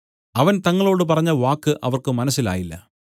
അവൻ തങ്ങളോട് പറഞ്ഞവാക്ക് അവർക്ക് മനസ്സിലായില്ല